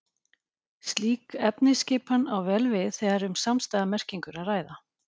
Slík efnisskipan á vel við þegar um samstæða merkingu er að ræða.